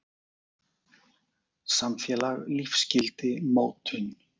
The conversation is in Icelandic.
Samfélag- lífsgildi- mótun.